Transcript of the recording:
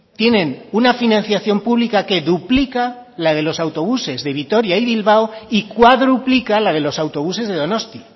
tienen una financiación pública que duplica la de los autobuses de vitoria y bilbao y cuadruplica la de los autobuses de donosti